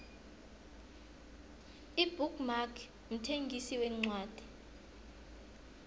ibook mark mthengisi wencwadi